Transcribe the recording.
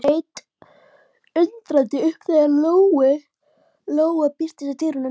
Hún leit undrandi upp þegar Lóa birtist í dyrunum.